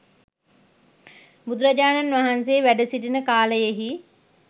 බුදුරජාණන් වහන්සේ වැඩසිටින කාලයෙහි